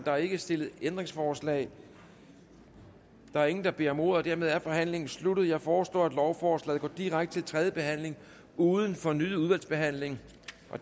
er ikke stillet ændringsforslag der er ingen der beder om ordet og dermed er forhandlingen sluttet jeg foreslår at lovforslaget går direkte til tredje behandling uden fornyet udvalgsbehandling